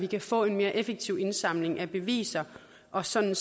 kan få en mere effektiv indsamling af beviser og sådan